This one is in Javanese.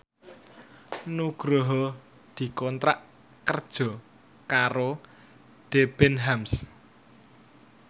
Nugroho dikontrak kerja karo Debenhams